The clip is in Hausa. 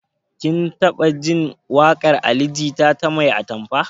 Kin taɓa jin waƙar ali jita ta 'mai atamfa'?